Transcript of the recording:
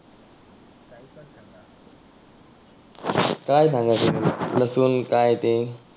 काय सांगायचं तुला लसुन काय ते?